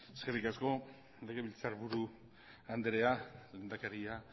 eskerrik asko legebiltzarburu andrea lehendakaria